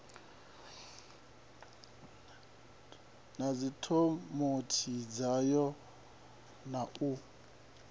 na dzikomiti dzayo na u